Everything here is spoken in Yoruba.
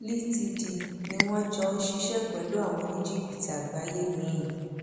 ltd ni wọn jọ ń ṣiṣẹ pẹlú àwọn oníjìbìtì àgbáyé miín